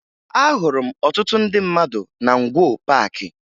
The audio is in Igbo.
Ahụrụ m ọtụtụ ndị mmadụ na Ngwo Paakị